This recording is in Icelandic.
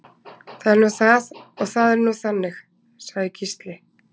Það er nú það og það er nú þannig, sagði Gísli.